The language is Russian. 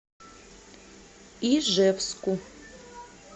ижевску